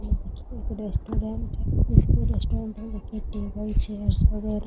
यह एक रेस्टोरेंट है । जिसपे रेस्टोरेंट है देखिएटेबल चेयर्स वगेरह --